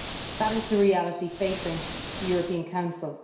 That is the reality facing the European Council.